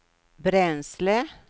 bränsle